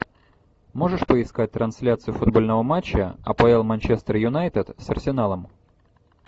можешь поискать трансляцию футбольного матча апл манчестер юнайтед с арсеналом